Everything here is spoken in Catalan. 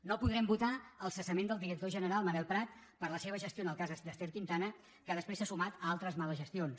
no podrem votar el cessament del director general manel prat per la seva gestió en el cas d’ester quintana que després s’ha sumat a altres males gestions